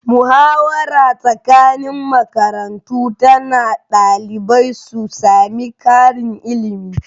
Muhawara tsakanin makarantu tana ɗalibai su sami karin ilimi